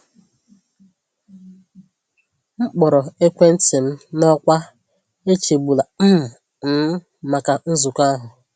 M kpọrọ ekwentị m n’ọkwa “echegbula um m” maka nzukọ ahụ.